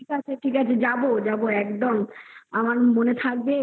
হ্যা ঠিক আছে ঠিক আছে যাবো একদম আমার মনে থাকবে এইবার তো